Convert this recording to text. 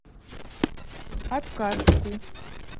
аткарску